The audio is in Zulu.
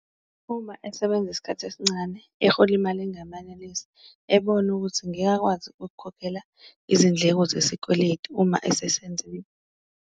Uma esebenza isikhathi esincane ehola imali engamanalisi ebona ukuthi ngeke akwazi ukukhokhela izindleko zesikweletu uma esesenzile.